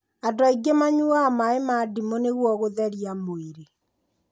Andũ aingĩ manyuaga maĩ ma ndimũ nĩguo gũtheria mwĩrĩ